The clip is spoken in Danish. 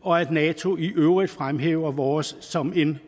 og at nato i øvrigt fremhæver vores som en